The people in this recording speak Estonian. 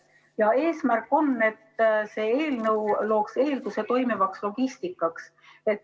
Ja eesmärk on, et see eelnõu loob eeldused toimivaks logistikaks.